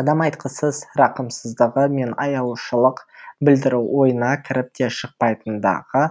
адам айтқысыз рақымсыздығы мен аяушылық білдіру ойына кіріп те шықпайтындығы